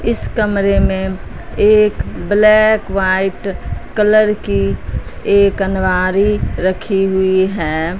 इस कमरे में एक ब्लैक व्हाइट कलर की एक अलमारी रखी हुई है।